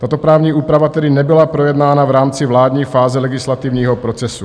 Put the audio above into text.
Tato právní úprava tedy nebyla projednána v rámci vládní fáze legislativního procesu.